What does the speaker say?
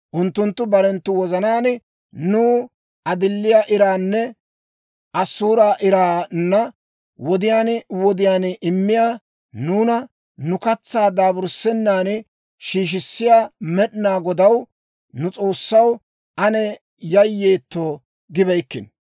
Unttunttu barenttu wozanaan, «Nuw adiliyaa iraanne asuuraa iraanna wodiyaan wodiyaan immiyaa, nuuna nu katsaa daaburssissennan shiishissiyaa Med'inaa Godaw, nu S'oossaw, ane yayyeetto» gibeykkino.